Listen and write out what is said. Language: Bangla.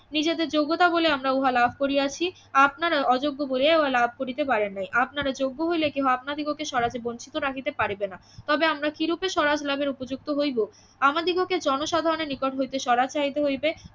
নিজেদের যোগ্যতা বলে আমরা উহা লাভ করিয়াছি আপনারা অযোগ্য বলিয়াই উহা লাভ করিতে পারেন নাই আপনারা যোগ্য হইলে কেহ আপনাদিগকে স্বরাজে বঞ্চিত রাখিতে পারিবে না তবে আমরা কিরূপে স্বরাজ লাভের উপযুক্ত হইব আমাদিগকে জনসাধারনের নিকট হইতে স্বরাজ চাহিতে হইবে